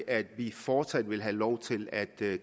at vi fortsat vil have lov til at